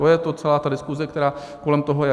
To je to, celá ta diskuse, která kolem toho je.